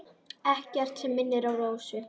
Ekkert sem minnir á Rósu.